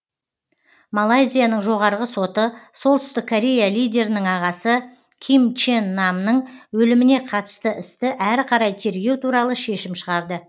малайзияның жоғарғы соты солтүстік корея лидерінің ағасы ким чен намның өліміне қатысты істі әрі қарай тергеу туралы шешім шығарды